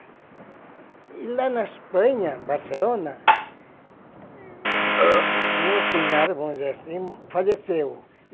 E lá na Espanha, em Barcelona, o meu cunhado, vamos dizer assim, faleceu.